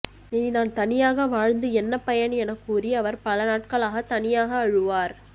இனி நான் தனியாக வாழ்ந்து என்ன பயன் என கூறி அவர் பல நாட்களாக தனியாக அழுவார்